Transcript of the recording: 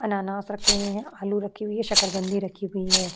अनानास रखे हुए हैं। आलू रखी हुए हैं। शकरकंदी रखी हुई हैं।